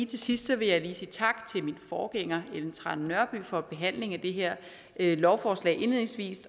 til sidst vil jeg lige sige tak til min forgænger ellen trane nørby for behandlingen af det her lovforslag